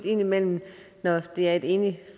indimellem er et enigt